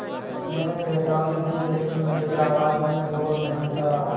मैंने चेतावनी दी लेकिन मेरी आवाज़ में ज़ोर नहीं था